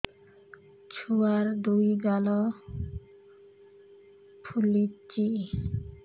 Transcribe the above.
ଛୁଆର୍ ଦୁଇ ଗାଲ ଫୁଲିଚି